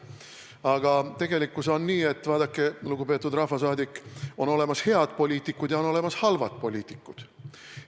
Aga tegelikkus on nii, et vaadake, lugupeetud rahvasaadik, on olemas head poliitikud ja on olemas halvad poliitikud.